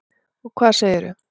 Og hvað segirðu?